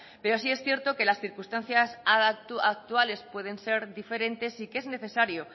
pero sí es cierto que las circunstancias actuales pueden ser diferentes y que es necesario